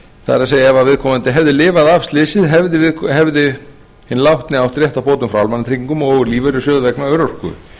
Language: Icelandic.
það er ef viðkomandi hefði lifað af slysið hefði hinn látni átt rétt á bótum frá almannatryggingum og lífeyrissjóði vegna örorku